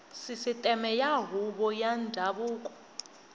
sisiteme ya huvo ya ndhavuko